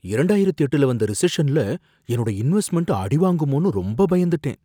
இரண்டாயிரத்து எட்டுல வந்த ரிசஷன்ல என்னோட இன்வெஸ்ட்மெண்ட் அடிவாங்குமோனு ரொம்ப பயந்துட்டேன்.